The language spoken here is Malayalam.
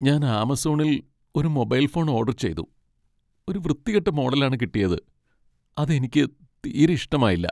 ഞാൻ ആമസോണിൽ ഒരു മൊബൈൽ ഫോൺ ഓഡർ ചെയ്തു ,ഒരു വൃത്തികെട്ട മോഡലാണ് കിട്ടിയത് , അത് എനിക്ക് തീരെ ഇഷ്ടമായില്ല .